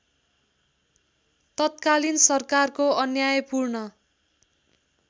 तत्कालीन सरकारको अन्यायपूर्ण